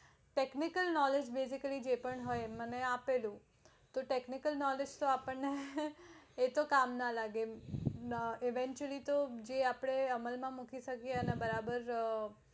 technically knowledge એમને મને આપેલું technical knowledge આપણે કામ ના લાગે evantually આપણે અમલ માં મૂકી શકીયે અને બરાબર